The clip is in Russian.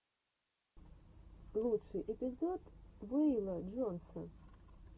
лучший эпизод вэйла джонса